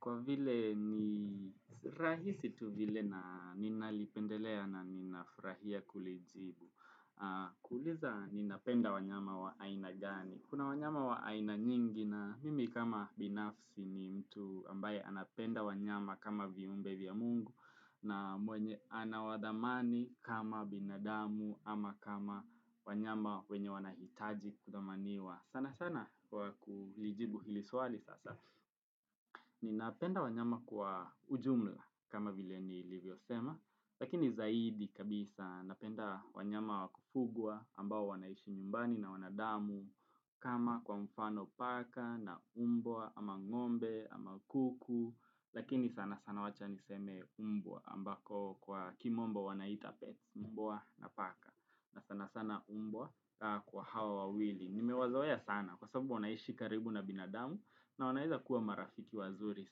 kwa vile ni rahisi tu vile na ninalipendelea na ninafurahia kulijibu. Kuuliza ni napenda wanyama wa aina gani. Kuna wanyama wa aina nyingi na mimi kama binafsi ni mtu ambaye anapenda wanyama kama viumbe vya mungu. Na mwenye anawadhamani kama binadamu ama kama wanyama wenye wanahitaji kudhamaniwa sana sana kwa kulijibu hili swali sasa ni napenda wanyama kwa ujumla kama vile ni livyo sema Lakini zaidi kabisa napenda wanyama wakufugwa ambao wanaishi nyumbani na wanadamu kama kwa mfano paka na umbwa ama ngombe ama kuku Lakini sana sana wacha niseme umbwa ambako kwa kimombo wanaita pet umbwa na paka na sana sana umbwa kwa hawa wawili Nime wazoea sana kwa sababu wanaishi karibu na binadamu na wanaweza kuwa marafiki wazuri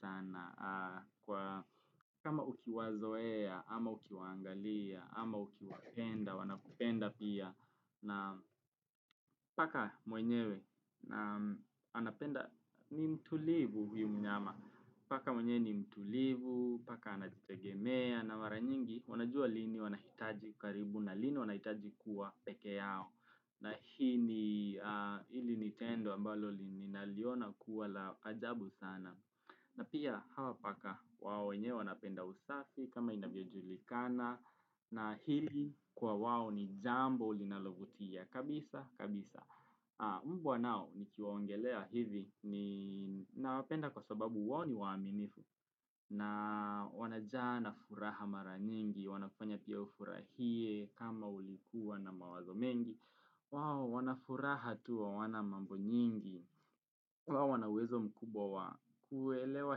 sana Kwa kama uki wazoeya ama ukiwaangalia ama uki wapenda wanakupenda pia na paka mwenyewe anapenda ni mtulivu huyu mnyama Paka mwenye ni mtulivu, paka anajitegemea na mara nyingi wanajua lini wanahitaji karibu na lini wanahitaji kuwa peke yao. Na hii ni hili ni tendo ambalo ninaliona kuwa la ajabu sana. Na pia hawa paka wao wenyewe wanapenda usafi kama inavyojulikana na hili kwa wao ni jambo linalovutia kabisa kabisa. Mbwa nao ni kiwaongelea hivi na wapenda kwa sababu wao ni waaminifu na wanajaa na furaha mara nyingi, wanafanya pia ufurahie kama ulikuwa na mawazo mengi, wao wanafuraha tu hawana mambo nyingi, wao wanaawezo mkubwa wa kuelewa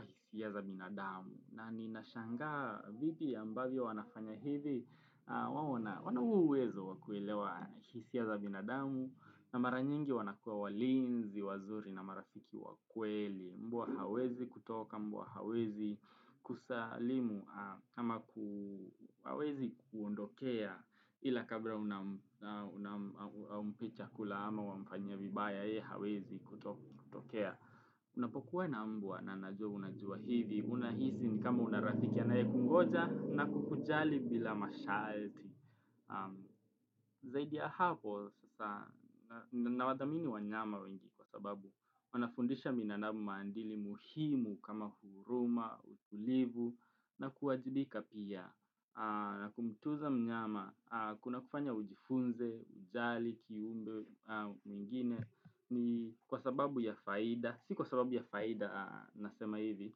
hisia za binadamu. Na ninashangaa vipi ambavyo wanafanya hivi, wana huo uwezo wakuelewa hisia za binadamu, na maranyingi wanakua walinzi, wazuri na marafiki wakweli, mbwa hawezi kutoka, mbwa hawezi kusalimu, ama hawezi kuondokea ila kabla unampa chakula ama wamfanyia vibaya, yeye hawezi kutokea. Unapokuwa na mbwa na najuwa unajuwa hivi, unahisi ni kama unarafiki anayekungoja na kukujali bila masharti. Zaidi ya hapo, sasa nawadhamini wa nyama wengi kwa sababu, wanafundisha binanamu maadili muhimu kama huruma, utulivu na kuwajibika pia. Na kumtuuza mnyama, kuna kufanya ujifunze, ujali, kiumbe mwingine, ni kwa sababu ya faida, si kwa sababu ya faida nasema hivi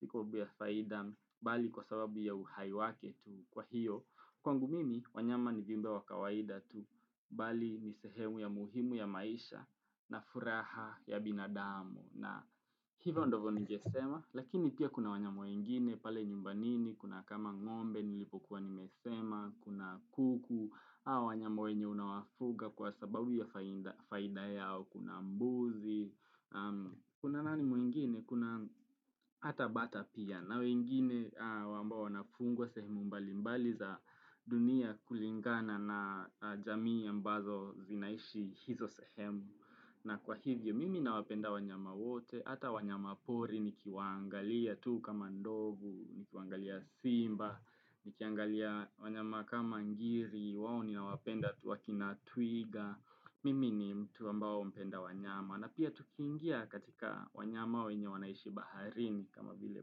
Si kwa sababu ya faida, bali kwa sababu ya uhai wake tu kwa hiyo Kwangu mimi, wanyama ni viumbe wa kawaida tu Bali ni sehemu ya muhimu ya maisha na furaha ya binadamu na hivyo ndivyo ningesema Lakini pia kuna wanyama wengine pale nyumbani ni Kuna kama ngombe, nilipokuwa nimesema Kuna kuku, au wanyama wenye unawafuga kwa sababu ya faida yao Kuna mbuzi, kuna nani mwingine, kuna hata bata pia na wengine amboa wanafungwa sehemu mbali mbali za dunia kulingana na jamii ambazo zinaishi hizo sehemu na kwa hivyo, mimi nawapenda wanyama wote, hata wanyama pori, nikiwaangalia tuu kama ndovu, nikiwangalia simba Nikiangalia wanyama kama ngiri, wao ni na wapenda akina twiga Mimi ni mtu ambao mpenda wanyama na pia tukiingia katika wanyama wenye wanaishi baharini kama vile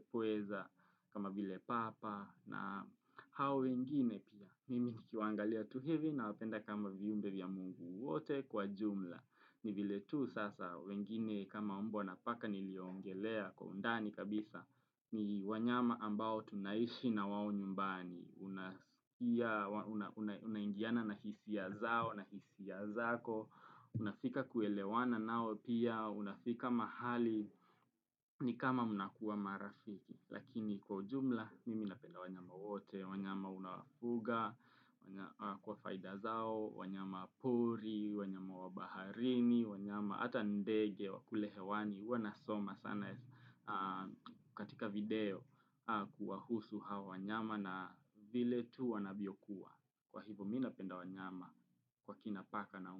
pweza, kama vile papa na hao wengine pia. Mimi nikiwwangalia tu hivi na wapenda kama viumbe vya mungu wote kwa jumla. Ni vile tu sasa wengine kama mbwa na paka niliongelea kwa undani kabisa ni wanyama ambao tunaishi na wao nyumbani Unaingiana na hisia zao na hisia zako Unafika kuelewana nao pia Unafika mahali ni kama mnakuwa marafiki Lakini kwa ujumla mimi napenda wanyama wote wanyama unawafuga kwa faida zao wanyama pori, wanyama wabaharini, wanyama hata ndege, wakule hewani huWa nasoma sana katika video kuwahusu hawa wanyama na vile tu wanavyokuwa Kwa hivyo mi na penda wanyama kwa kina paka na umbwa.